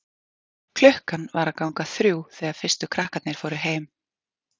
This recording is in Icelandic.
Klukkan var að ganga þrjú þegar fyrstu krakkarnir fóru heim.